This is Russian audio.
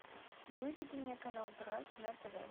выведи мне канал драйв на тв